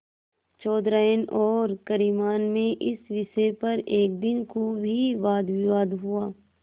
चौधराइन और करीमन में इस विषय पर एक दिन खूब ही वादविवाद हुआ